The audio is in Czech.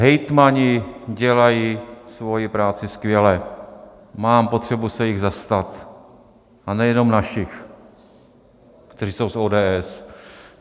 Hejtmani dělají svoji práci skvěle, mám potřebu se jich zastat, a nejenom našich, kteří jsou z ODS.